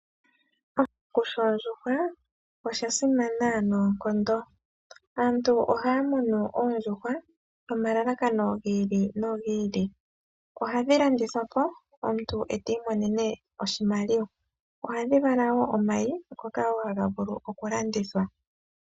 Oshikuku shoondjuhwa osha simana noonkondo. Aantu ohaa muna oondjuhwa nomalalakano gi ili no gi ili. Ohadhi landithwa po omuntu eti imonene oshimaliwa. Ohadhi vala woo omayi ngoka woo haga vulu oku landithwa.